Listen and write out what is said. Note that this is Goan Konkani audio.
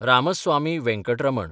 रामस्वामी वेंकटरमण